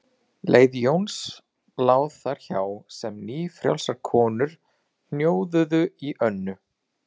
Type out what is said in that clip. Leið Jóns lá þar hjá sem nýfrjálsar konur hnjóðuðu í Önnu